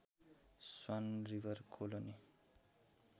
swan River colony